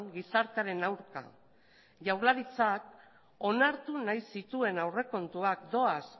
gizartearen aurka jaurlaritzak onartu nahi zituen aurrekontuak doaz